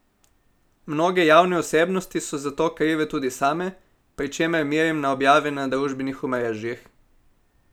Mnoge javne osebnosti so za to krive tudi same, pri čemer merim na objave na družbenih omrežjih.